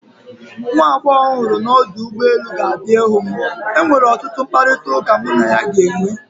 nwa agbọghọ m hụrụ m ọdụ ụgbọ elu, ga-abịa ịhụ m enwere ọtụtụ mkparịta ụka mụ na ya ga-enwe